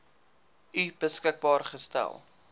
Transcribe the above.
u beskikbaar gestel